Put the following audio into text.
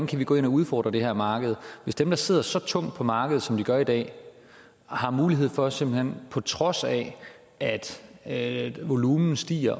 kan gå ind og udfordre det her marked hvis dem der sidder så tungt på markedet som de gør i dag har mulighed for simpelt hen på trods af at at volumen stiger